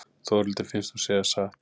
Þórhildi finnst hún segja satt.